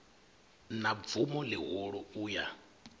na bvumo ḽihulu u ya